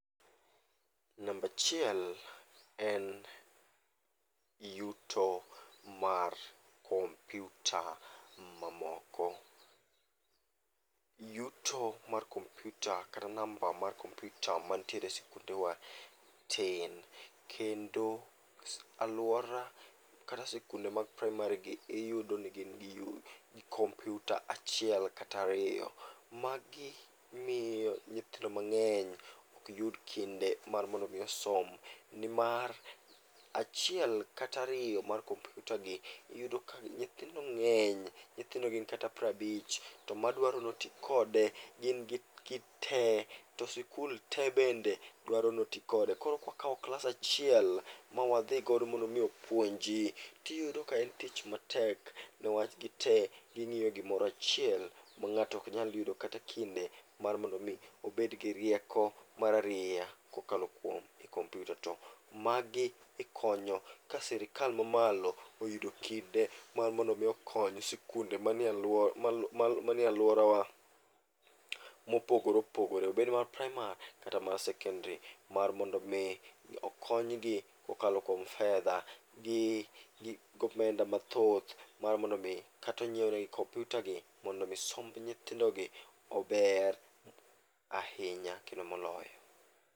Nambachiel en yuto mar kompyuta ma moko. Yuto mar kompyuta kata namba mar kompyuta mantiere e skundewa tin. Kendo alwora kata sikunde mag praimari gi iyudo ni gin gi compyuta achiel katariyo. Magi miyo nyithindo mang'eny ok yud kinde mar mondo mi osom, nimar achiel kata ariyo mar kompyuta gi iyudo ka gi nyithindo ng'eny. Nyithindo gin kata prabich to madwaro noti kode gin gi, gite to sikul te bende dwaro noti kode. Koro kwakawo klas achiel mawadhigodo mondo mi opuonji, tiyudo ni en tich matek niwach gite ging'iyo gimorachiel ma ng'ato ok nyal yudo kata kinde mar mondo mi obed gi rieko mararieya kokalo kuom e kompyuta. To magi ikonyo ka sirikal mamalo oyudo kinde mar mondo mi okony sikunde manie alworawa mopogore opogore. Obed mar praimar kata mar sekendri, mar mondo mi okonygi kokalo kuom fedha gi, gomenda mathoth. Mar mondo mi katonyiewnegi kompyuta gi mondo mi somb nyithindo gi ober ahinya kendo moloyo.